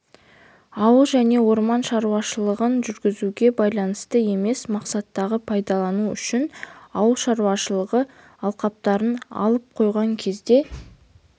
ауыл және орман шаруашылығын жүргізуге байланысты емес мақсаттарға пайдалану үшін ауыл шаруашылығы алқаптарын алып қойған кезде